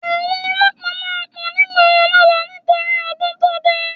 Àwọn olọ́pàá máa pọ̀ nígboro lọ́la nítorí ọdún tó dé